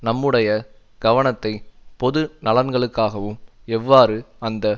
நம்முடைய கவனத்தை பொது நலன்களுக்காகவும் எவ்வாறு அந்த